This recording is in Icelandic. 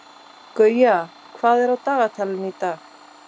Gauja, hvað er á dagatalinu í dag?